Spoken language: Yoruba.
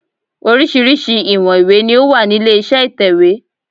Oríṣiríṣi ìwọ̀n ìwé ni ó wà nílé iṣẹ́ ìtẹ̀wẹ́.